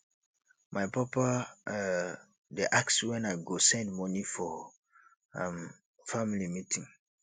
my papa um dey ask when i go send money for um family meeting